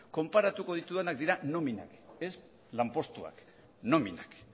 konparatuko ditudanak dira nominak ez lanpostuak nominak